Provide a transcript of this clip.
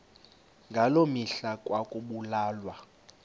ngaloo mihla ekwakubulawa